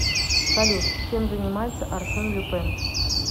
салют чем занимается арсен люпен